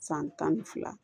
San tan ni fila